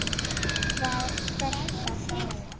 Það sleppa fáir.